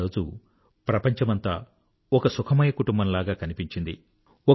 ఆరోజు ప్రపంచమంతా ఒక సుఖమయకుటుంబం లాగా కనిపించింది